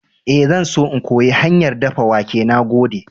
Ee, zan so in koyi hanyar dafa wake. Na gode.